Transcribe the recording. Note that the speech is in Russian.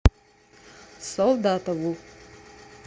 солдатову